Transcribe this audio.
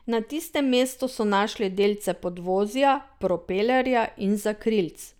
Na tistem mestu so našli delce podvozja, propelerja in zakrilc.